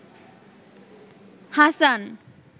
Hasan